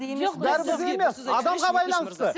адамға байланысты